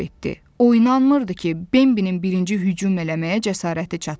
O inanmırdı ki, Benbinin birinci hücum eləməyə cəsarəti çatsın.